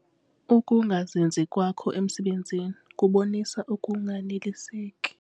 Ukungazinzi kwakho emisebenzini kubonisa ukunganeliseki.